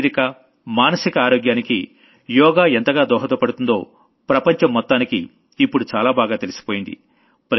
శారీరక మానసిక ఆరోగ్యానికి యోగా ఎంతగా దోహదపడుతుందో ప్రపంచం మొత్తానికీ ఇప్పుడు చాలా బాగా తెలిసిపోయింది